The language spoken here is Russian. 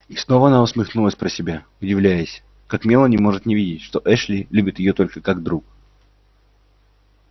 и снова она усмехнулась про себя удивляясь как мелани может не видеть что эшли любит её только как друг